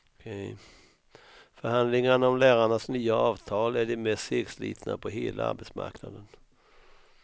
Förhandlingarna om lärarnas nya avtal är de mest segslitna på hela arbetsmarknaden.